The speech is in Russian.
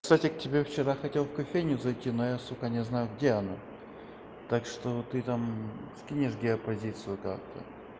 кстати к тебе вчера хотел в кофейню зайти но я сука не знаю где она так что ты там скинешь геопозицию карты